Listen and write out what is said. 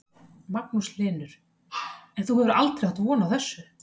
Magnús Hlynur: En þú hefur aldrei átt von á þessu?